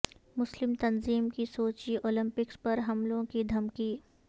مسلم تنظیم کی Sochi Olympics پر حملوں کی دھمکی